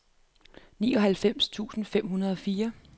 nioghalvfjerds tusind fem hundrede og fire